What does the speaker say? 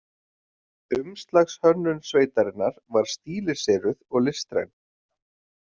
Umslagshönnun sveitarinnar var stíliseruð og listræn.